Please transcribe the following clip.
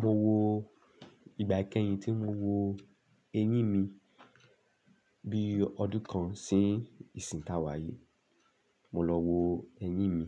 Mo wo ìgbà ikẹyin tí mo wo eyín mi bí ọdún kan sí ìsìn tá wáyé. Mo lọ wo eyín mi